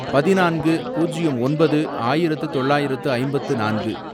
பதினான்கு, பூஜ்யம் ஒன்பது, ஆயிரத்து தொள்ளாயிரத்து ஐம்பத்து நான்கு